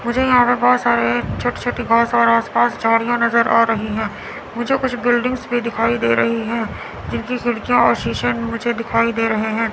मुझे यहां पे बहोत सारे छोटी छोटी घास और आस पास झाड़ियां नजर आ रही हैं मुझे कुछ बिल्डिंग्स भी दिखाई दे रही हैं जिनकी खिड़कियां और शीशे मुझे दिखाई दे रहे हैं।